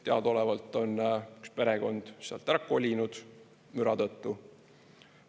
Teadaolevalt on üks perekond sealt ära kolinud müra tõttu.